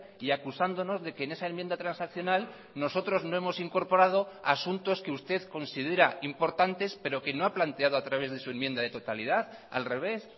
y acusándonos de que en esa enmienda transaccional nosotros no hemos incorporado asuntos que usted considera importantes pero que no ha planteado a través de su enmienda de totalidad al revés